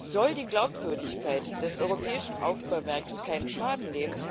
Soll die Glaubwürdigkeit des europäischen Aufbauwerks keinen Schaden nehmen,